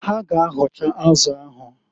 Ha ga- ahọcha azụ ahụ.